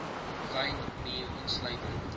wyn bier insluitend